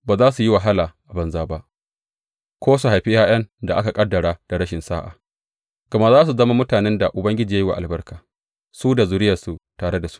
Ba za su yi wahala a banza ba ko su haifi ’ya’yan da aka ƙaddara da rashin sa’a; gama za su zama mutanen da Ubangiji ya yi wa albarka, su da zuriyarsu tare da su.